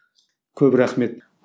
көп рахмет